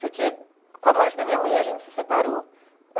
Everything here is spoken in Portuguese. Porque com a morte da minha mãe a gente se separou.